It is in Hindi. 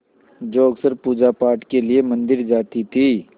जो अक्सर पूजापाठ के लिए मंदिर जाती थीं